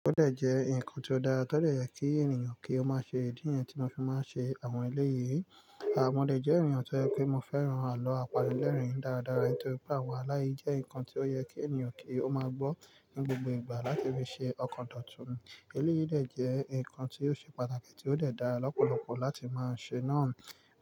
Ó dẹ̀ jẹ́ nǹkan tó dára, tó dẹ̀ yẹ kí ènìyàn kí ó máa ṣe ìdí niyẹn tí mó fi máa ń ṣe àwọn eléyìí. À mo de jẹ́ ènìyàn tó jẹ pé mo fẹ́ran àlọ́ àpani lẹ́rìn-ín dáradára. Nítorí pé àwọn alo yi jẹ́ nǹkan tí ó yẹ kí ènìyàn kí ó máa gbọ́ ní gbogbo ìgbà láti fi ṣe ọkàn dọ̀tún. Eléyìí dẹ̀ jẹ́ nǹkan tí ó ṣe pàtàkì, tí ó dẹ̀ dára lọ́pọ̀lọpọ̀ láti máa ṣe náà.